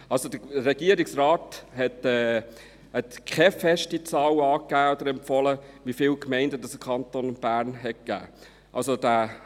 Also: Der Regierungsrat hat keine feste Zahl angegeben oder empfohlen, wie viele Gemeinden es im Kanton Bern geben soll.